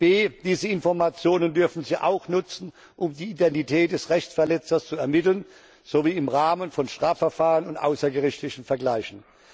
b Diese Informationen dürfen sie auch nutzen, um die Identität des Rechtsverletzers zu ermitteln, sowie im Rahmen von Strafverfahren und außergerichtlichen Vergleichen.